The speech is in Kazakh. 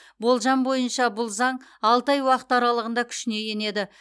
болжам бойынша бұл заң алты ай уақыт аралығында күшіне енеді